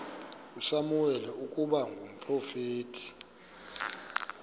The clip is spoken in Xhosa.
usamuweli ukuba ngumprofeti